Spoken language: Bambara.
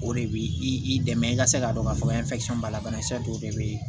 O de b'i dɛmɛ i ka se k'a dɔn k'a fɔ b'a la banakisɛ dɔw de bɛ yen